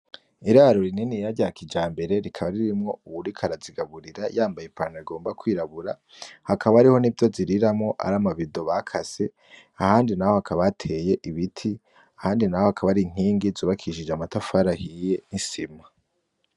Iraro rininiya rya kijambere rikaba ririmwo uwuriko arazigaburira yambaye ipantaro igomba kwirabura hakaba hariho nivyo ziriramwo ari amabido bakase ahandi naho hakaba hateye ibiti ahandi naho hakaba hari inkingi zubakishije amatafari ahiye nisima.